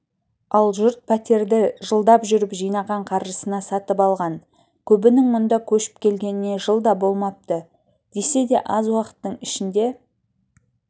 ал жұрт пәтерді жылдап жүріп жинаған қаржысына сатып алған көбінің мұнда көшіп келгеніне жыл да болмапты десе де аз уақыттың ішінде